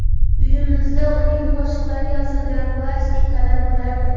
Uyimizda uning qo‘shiqlari yozilgan plastinkalar bo‘lardi.